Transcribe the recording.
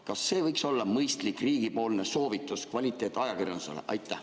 Kas see võiks olla mõistlik riigipoolne soovitus kvaliteetajakirjandusele?